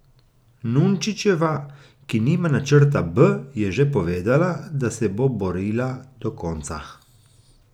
Nunčičeva, ki nima načrta B, je že povedala, da se bo borila do konca.